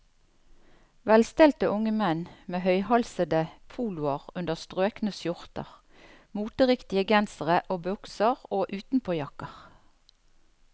Velstelte unge menn med høyhalsede poloer under strøkne skjorter, moteriktige gensere og bukser og utenpåjakker.